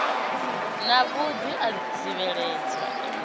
na vhuḓi a zwibveledzwa i